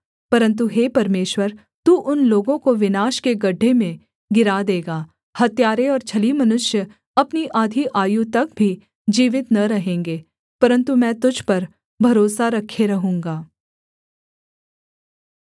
परन्तु हे परमेश्वर तू उन लोगों को विनाश के गड्ढे में गिरा देगा हत्यारे और छली मनुष्य अपनी आधी आयु तक भी जीवित न रहेंगे परन्तु मैं तुझ पर भरोसा रखे रहूँगा